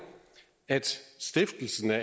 at stiftelsen af